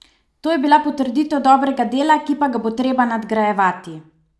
To je bila potrditev dobrega dela, ki pa ga bo treba nadgrajevati.